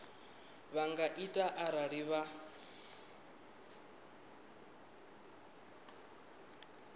vha nga ita arali vha